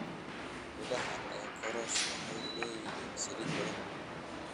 Midhaha ee korosho waxay leeyihiin saliid badan.